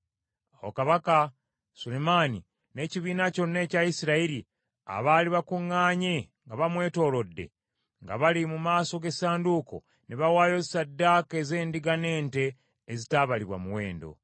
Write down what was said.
Awo kabaka Sulemaani n’ekibiina kyonna ekya Isirayiri, abaali bakuŋŋaanye nga bamwetoolodde, nga bali mu maaso g’essanduuko, ne bawaayo ssaddaaka ez’endiga n’ente, ezitaabalibwa muwendo.